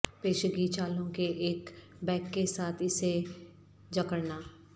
پیشگی چالوں کے ایک بیگ کے ساتھ اسے جکڑنا